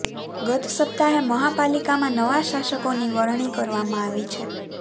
ગત સપ્તાહે મહાપાલિકામાં નવા શાસકોની વરણી કરવામાં આવી છે